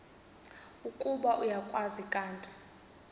ukuba uyakwazi kanti